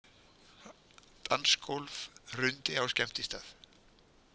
Dansgólf hrundi á skemmtistað